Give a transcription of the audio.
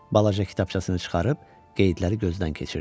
Balaca kitabçasını çıxarıb qeydləri gözdən keçirdi.